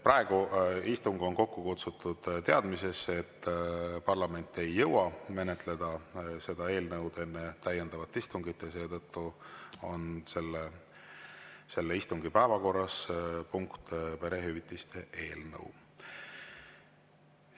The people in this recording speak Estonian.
Praegu on istung kokku kutsutud teadmises, et parlament ei jõua menetleda seda eelnõu enne täiendavat istungit, ja seetõttu on selle istungi päevakorras perehüvitiste eelnõu punkt.